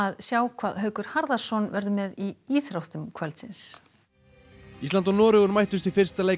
sjá hvað Haukur Harðarson verður með í íþróttum kvöldsins ísland og Noregur mættust í fyrsta leik